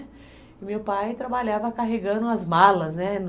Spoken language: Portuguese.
E meu pai trabalhava carregando as malas, né?